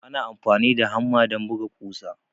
Ana amfani da hamma don buga ƙusa.